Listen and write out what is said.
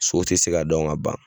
So tɛ se ka dɔn ka ban.